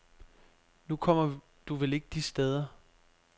Nu kommer du vel ikke de steder.